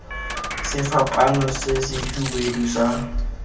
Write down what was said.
sefapaano se se hubedu sa